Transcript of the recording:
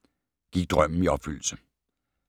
Gik drømmen i opfyldelse?